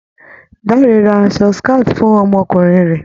Dáre ra aṣọ scout fún ọmọkùnrin rẹ̀.